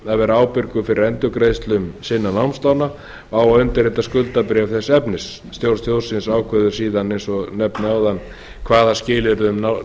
vera ábyrgur fyrir endurgreiðslum sinna námslána og á að undirrita skuldabréf þess efnis stjórn sjóðsins ákveður síðan eins og ég nefndi áðan hvaða skilyrði